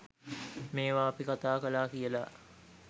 මේවා අපි කතා කලා කියලා